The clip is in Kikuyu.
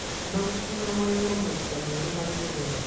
na gũkinya magego maita merĩ harĩ mũthenya.